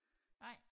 Nej